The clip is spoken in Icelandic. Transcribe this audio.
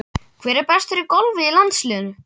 Hver er bestur í golfi í landsliðinu?